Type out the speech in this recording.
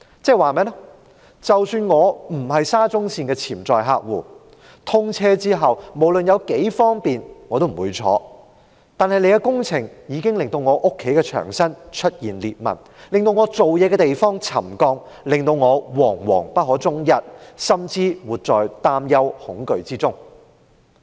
即是說，即使我不是沙中線的潛在乘客，通車後無論有多方便我也不會乘搭，但工程已經令我家中的牆身出現裂紋，令我工作的地方沉降，令我惶惶不可終日，甚至活在擔憂、恐懼之中。